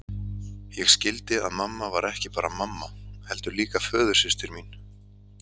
Ég skildi að mamma var ekki bara mamma, heldur líka föðursystir mín.